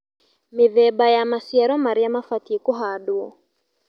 Mĩthemba ya maciaro marĩa mabatie kũhandwo